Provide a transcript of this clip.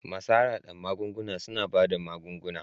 Masu harhada magunguna suna ba da magunguna